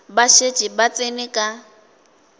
ba šetše ba tsene ka